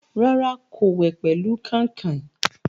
Rárá, kò wẹ̀ pẹ̀lú kàìnkàìn.